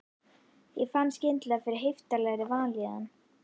Ég fann skyndilega fyrir heiftarlegri vanlíðan.